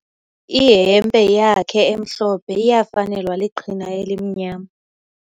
Ihempe yakhe emhlophe iyafanelwa liqhina elimnyama.